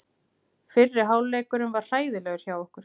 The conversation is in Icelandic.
Fyrri hálfleikurinn var hræðilegur hjá okkur.